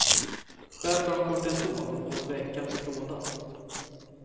Själv tar hon kortison någon gång i veckan mot klådan.